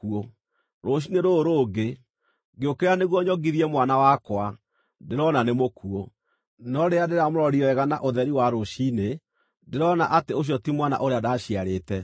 Rũciinĩ rũrũ rũngĩ, ngĩũkĩra nĩguo nyongithie mwana wakwa, ndĩrona nĩ mũkuũ! No rĩrĩa ndĩramũrorire wega na ũtheri wa rũciinĩ, ndĩrona atĩ ũcio ti mwana ũrĩa ndaciarĩte.”